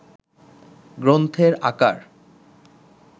গ্রন্থের আকার